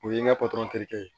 O ye n ka terikɛ ye